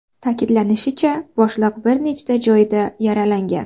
Ta’kidlanishicha, boshliq bir nechta joyida yaralangan.